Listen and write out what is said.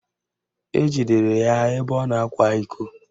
Ejidere ya ebe ọ na-akwa iko